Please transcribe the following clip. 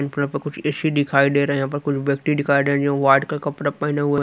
ऊपरा पर कुछ ए_सी दिखाई दे रहे हैं यहां पर कुछ व्यक्ति दिखाई दे जो वार्ड का कपड़ा पहने हुआ--